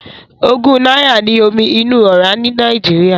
Ogún náírà ní omi inú ọ́rá ní Nàìjíríà.